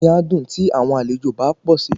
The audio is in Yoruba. Inú mí a dùn tí àwọn àlejò bá pò si.